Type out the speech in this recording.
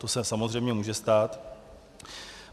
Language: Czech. To se samozřejmě může stát.